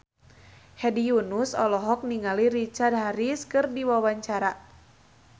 Hedi Yunus olohok ningali Richard Harris keur diwawancara